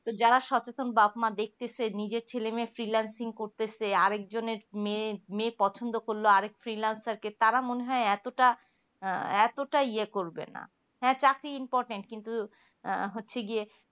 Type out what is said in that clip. যারা সচেতন বাপ মা দেখতেছে নিজের ছেলে মেয়ে finalsingh করতেছে আরেকজনের মেয়ে পছন্দ করলো আরেক finalsar কে তারা মনে হয় এতটা ইয়ে করবেনা হ্যা চাকরি importain কিন্তু আহ হচ্ছে গিয়ে